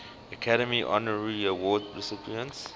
academy honorary award recipients